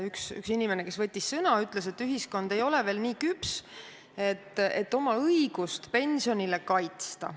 Üks inimene, kes võttis sõna, ütles, et ühiskond ei ole veel nii küps, et oma õigust pensionile kaitsta.